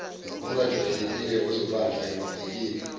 ongajwayelekile ozobanjwa emavikini